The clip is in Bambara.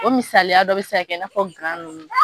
O misaliya dɔ bɛ se ka kɛ i n'a fɔ gan nunnu.